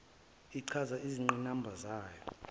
ichaze izingqinamba zayo